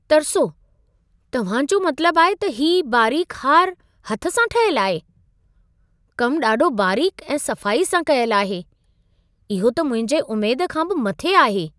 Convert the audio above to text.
तरिसो, तव्हां जो मतिलबु आहे त हीउ बारीक़ हार हथ सां ठाहियल आहे? कम ॾाढो बारीक़ु ऐं सफ़ाई सां कयलु आहे। इहो त मुंहिंजी उमेद खां बि मथे आहे!